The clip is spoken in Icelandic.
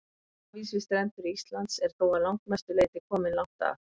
Hafís við strendur Íslands er þó að langmestu leyti kominn langt að.